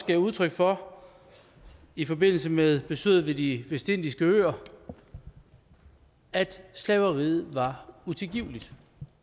gav udtryk for i forbindelse med besøget ved de vestindiske øer altså at slaveriet var utilgiveligt